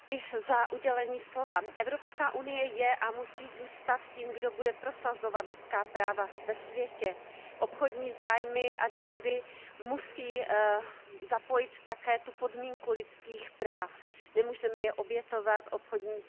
Paní předsedající, Evropská unie je a musí zůstat tím, kdo bude prosazovat lidská práva ve světě. Obchodní zájmy a dohody musí zapojit také tu podmínku lidských práv, nemůžeme je obětovat obchodním zájmům.